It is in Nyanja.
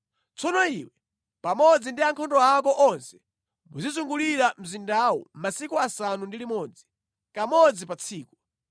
Tsono iwe pamodzi ndi ankhondo ako onse muzizungulira mzindawu masiku asanu ndi limodzi, kamodzi pa tsiku.